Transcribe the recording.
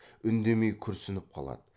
үндемей күрсініп қалады